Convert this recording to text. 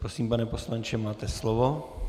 Prosím, pane poslanče, máte slovo.